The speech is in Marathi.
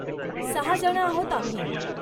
सहा जण आहोत आम्ही.